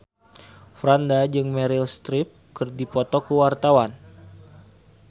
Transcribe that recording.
Franda jeung Meryl Streep keur dipoto ku wartawan